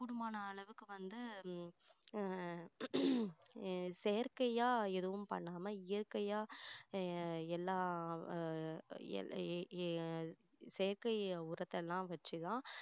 இப்போ வந்து உம் ஆஹ் செயற்கையா எதுவும் பண்ணாம இயற்கையா எர் எல்லாம் ஆஹ் எர் எர் எர் எர் செயற்கை உரத்தை எல்லாம் வச்சு தான்